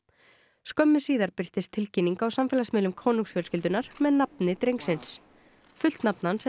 skömmu síðar birtist tilkynning á samfélagsmiðlum konungsfjölskyldunnar með nafni drengsins fullt nafn hans er